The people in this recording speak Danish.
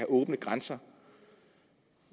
åbne grænser